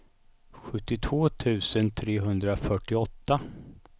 sjuttiotvå tusen trehundrafyrtioåtta